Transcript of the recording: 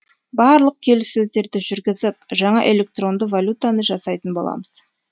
барлық келіссөздерді жүргізіп жаңа электронды валютаны жасайтын боламыз